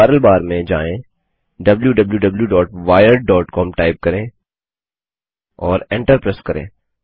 URL bar में जाएँwwwwiredcom type करें और एन्टर प्रेस करें